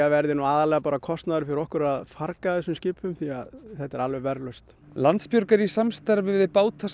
verði aðallega kostnaður fyrir okkur að farga þessum skipum því þetta er alveg verðlaust Landsbjörg er í samstarfi við